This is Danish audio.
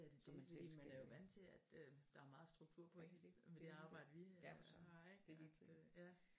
Selvfølgelig er det dét fordi man er jo vant til at der er meget struktur på ens liv med det arbejde vi har ikke at det ja